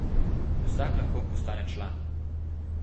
Vsak lahko postane član.